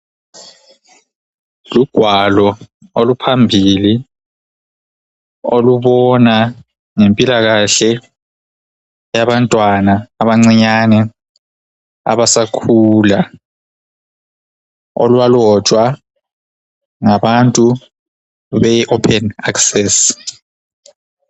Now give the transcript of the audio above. Lugwalo oluphambili olubona ngempilakahle yabantwana abancinyane abasakhulayo olwalotshwa ngabantu be open access.